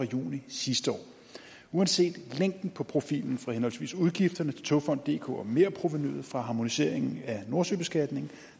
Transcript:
juni sidste år uanset længden på profilen for henholdsvis udgifterne til togfonden dk og merprovenuet fra harmoniseringen af nordsøbeskatningen